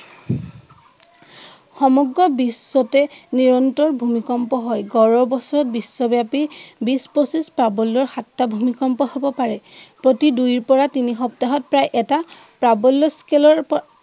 সমগ্ৰ বিশ্বতে নিৰন্তৰ ভূমিকম্প হয়। গড়ে বছৰি বিশ্বব্য়াপি বিশ পছিশ প্ৰাবল্য়ৰ সাতটা ভূমিকম্প হব পাৰে। প্ৰতি দুইৰ পৰা তিনি সপ্তাহত প্ৰায় এটা প্ৰাবল্য় স্কেলৰ